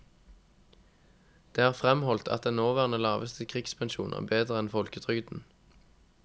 Det er fremholdt at den nåværende laveste krigspensjon er bedre enn folketrygden.